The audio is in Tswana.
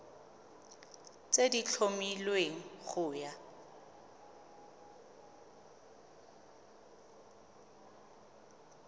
tse di tlhomilweng go ya